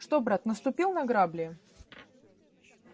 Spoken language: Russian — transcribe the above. что брат наступил на грабли